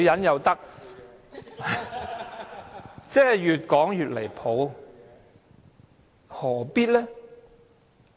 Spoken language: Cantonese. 越說越離譜，何必呢？